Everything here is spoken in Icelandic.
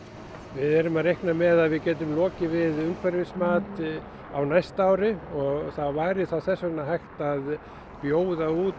við erum að reikna með að við getum lokið við umhverfismat á næsta ári og það væri þá þess vegna hægt að bjóða út